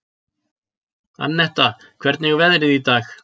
Annetta, hvernig er veðrið í dag?